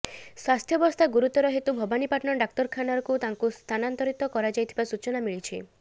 ସ୍ବାସ୍ଥ୍ୟବସ୍ଥା ଗୁରୁତର ହେତୁ ଭବାନୀପାଟଣା ଡାକ୍ତରଖାନାକୁ ସ୍ଥାନାନ୍ତର କରାଯାଇଥିବା ସୂଚନା ମିଳିଛି